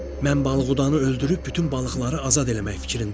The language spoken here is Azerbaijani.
Mən balıqdanı öldürüb bütün balıqları azad eləmək fikrindəyəm.